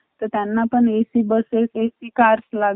तर त्यांना पण AC Buses AC Cars लागत